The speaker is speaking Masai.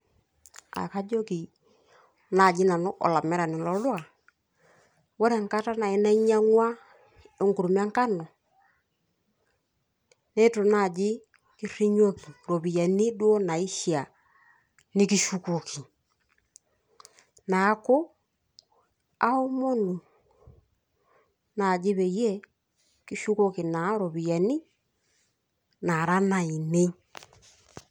Enkajoki naaji nanu olamerani lolduka ,ore enkata naai nainyiang'ua enkurma enkano neitu naaji kirinyioki iropiyiani duo naishiaaa nikishukoki neeku aaomonu naaji peyie kishukoki naaa ropiyiani naara nainei.